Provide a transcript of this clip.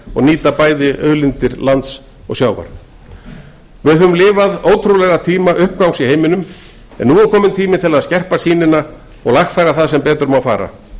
og nýta bæði auðlindir lands og sjávar við höfum lifað ótrúlega tíma uppgangs í heiminum en nú er kominn tími til að skerpa sýnina og lagfæra það sem betur má fara